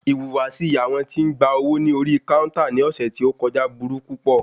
Ìhùwàsí àwọn tí ń gba owó ní orí káúntà ní ọ̀sẹ̀ tí o kọjá burú púpọ̀.